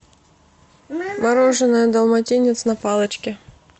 мороженое далматинец на палочке